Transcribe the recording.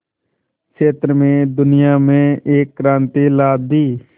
क्षेत्र में दुनिया में एक क्रांति ला दी